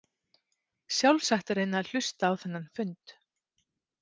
Sjálfsagt að reyna að hlusta á þennan fund.